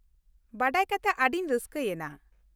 ᱵᱟᱰᱟᱭ ᱠᱟᱛᱮ ᱟᱹᱰᱤᱧ ᱨᱟᱹᱥᱠᱟᱹᱭᱮᱱᱟ ᱾